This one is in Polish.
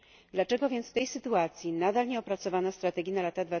Dlaczego więc w tej sytuacji nadal nie opracowano strategii na lata